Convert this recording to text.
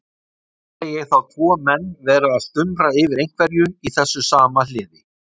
Sé ég þá tvo menn vera að stumra yfir einhverju í þessu sama hliði.